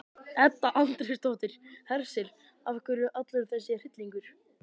Edda Andrésdóttir: Hersir, af hverju allur þessi hryllingur?